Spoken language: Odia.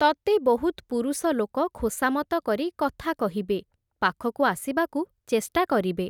ତତେ ବହୁତ୍ ପୁରୁଷଲୋକ, ଖୋସାମତ କରି କଥା କହିବେ, ପାଖକୁ ଆସିବାକୁ ଚେଷ୍ଟା କରିବେ ।